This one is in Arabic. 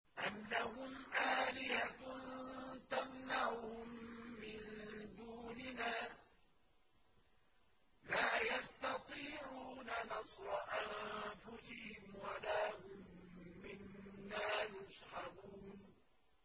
أَمْ لَهُمْ آلِهَةٌ تَمْنَعُهُم مِّن دُونِنَا ۚ لَا يَسْتَطِيعُونَ نَصْرَ أَنفُسِهِمْ وَلَا هُم مِّنَّا يُصْحَبُونَ